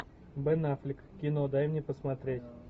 бен аффлек кино дай мне посмотреть